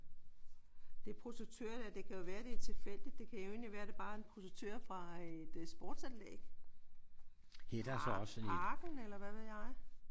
Det projektør der det kan jo være at det er tilfældigt. Det kan egentlig være at det bare er et projektør fra et sportsanlæg. Fra parken eller hvad ved jeg